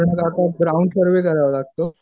Ground floor बी करावं लागतो.